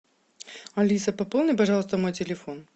алиса пополни пожалуйста мой телефон